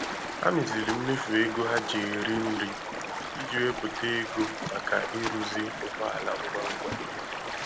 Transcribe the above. Ha meziri mmefu ego ha ji eri nri iji wepụta ego maka ịrụzi ụgbọ ala ngwa ngwa.